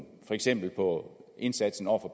for eksempel på indsatsen over for